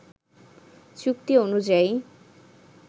চুক্তি অনুযায়ী